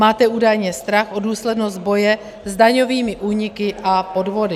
Máte údajně strach o důslednost boje s daňovými úniky a podvody.